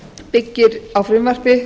byggir á frumvarpi